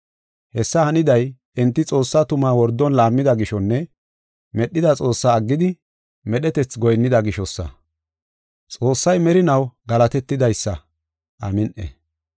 Hessi haniday enti Xoossaa tumaa wordon laammida gishonne medhida Xoossaa aggidi, medhetethi goyinnida gishosa. Xoossay merinaw galatetidaysa. Amin7i.